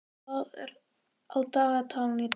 Marit, hvað er á dagatalinu í dag?